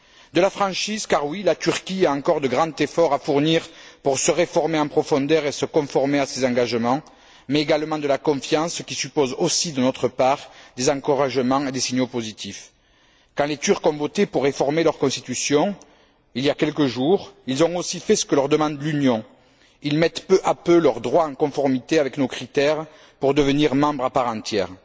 De la franchise car oui, la Turquie a encore de grands efforts à fournir pour se réformer en profondeur et se conformer à ses engagements, mais également de la confiance qui suppose aussi, de notre part, des encouragements et des signaux positifs. Quand les Turcs ont voté pour réformer leur constitution, il y a quelques jours, ils ont aussi fait ce que leur demande l'Union ils mettent peu à peu leur droit en conformité avec nos critères pour devenir membre à part entière.